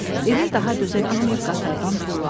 Emil daha dözə bilməyib qatardan tullandı.